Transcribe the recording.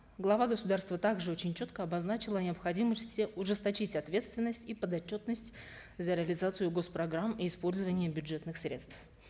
глава государства также очень четко обозначил о необходимости ужесточить ответственность и подотчетность за реализацию гос программ и использование бюджетных средств